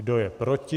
Kdo je proti?